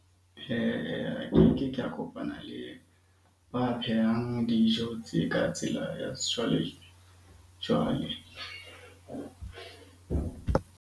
Kopana le ba phehang dijo tse ka tsela ya sejwale jwale.